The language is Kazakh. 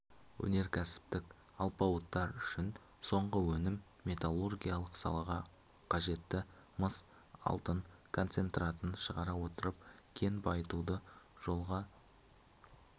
өнеркәсіптік алпауыттар үшін соңғы өнім металлургиялық салаға қажетті мыс-алтын концентратын шығара отырып кен байытуды жолға